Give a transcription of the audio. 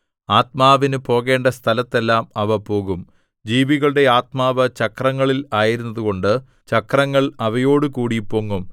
ആത്മാവിനു പോകേണ്ട സ്ഥലത്തെല്ലാം അവ പോകും ജീവികളുടെ ആത്മാവ് ചക്രങ്ങളിൽ ആയിരുന്നതുകൊണ്ട് ചക്രങ്ങൾ അവയോടുകൂടി പൊങ്ങും